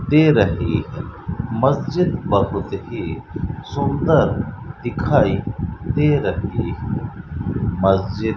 दे रही है मस्जिद बहुत ही सुंदर दिखाई दे रही मस्जिद --